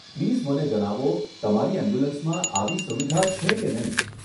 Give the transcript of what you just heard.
Please મને જણાવો તમારી એમ્બ્યુલન્સમાં આવી સુવિધા છે કે નહીં.